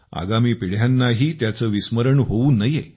आगामी पिढ्यांनाही त्याचे विस्मरण होवू नये